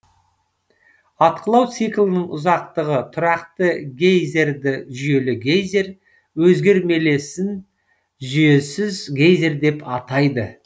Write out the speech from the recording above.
атқылау циклінің ұзақтығы тұрақты гейзерді жүйелі гейзер өзгермелесін жүйесіз гейзер деп атайды